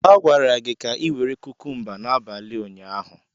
A gwara gị ka ị were kukumba n'abalị ụnyaahụ.